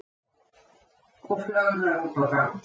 Og flögrar út á ganginn.